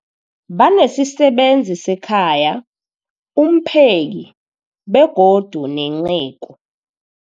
Banesisebenzi sekhaya, umpheki, begodu nenceku.